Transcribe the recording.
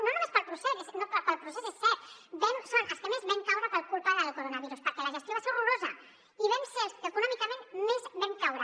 no només pel procés és cert som els que més vam caure per culpa del coronavirus perquè la gestió va ser horrorosa i vam ser els que econòmicament més vam caure